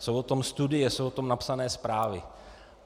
Jsou o tom studie, jsou o tom napsané zprávy.